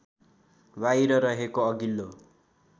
बाहिर रहेको अघिल्लो